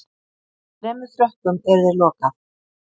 Þremur Frökkum yrði lokað